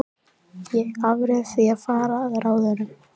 Ég afréð því að fara að ráðum